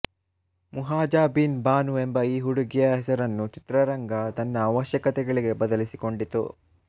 ಮುಹಾಜಾಬೀನ್ ಬಾನು ಎಂಬ ಈ ಹುಡುಗಿಯ ಹೆಸರನ್ನು ಚಿತ್ರರಂಗ ತನ್ನ ಅವಶ್ಯಕತೆಗಳಿಗೆ ಬದಲಿಸಿಕೊಂಡಿತು